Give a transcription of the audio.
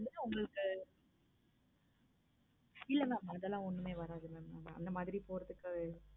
உங்களுக்கு இல்ல mam அதெல்லாம் ஒண்ணுமே வராது mam அந்த மாதிரி போறதுக்கு